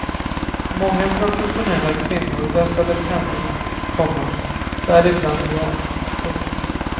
Många professionella kvinnor vässade pennorna, komma däribland jag. punkt